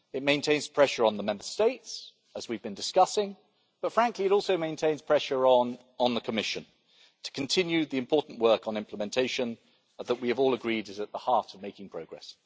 It maintains pressure on the Member States, as we have been discussing, but, frankly, it also maintains pressure on the Commission to continue the important work on implementation that we have all agreed is at the heart of making progress.